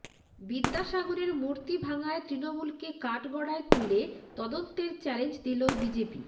বিদ্যাসাগরের মূর্তি ভাঙায় তৃণমূলকে কাঠগড়ায় তুলে তদন্তের চ্যালেঞ্জ দিল বিজেপি